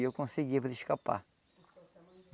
E eu consegui fazer escapar.